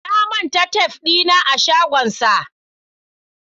Na manta tef dina a shagonsa.